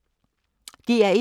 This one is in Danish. DR1